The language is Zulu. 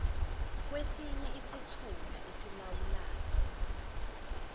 kwesinye isithunywa esilawulwayo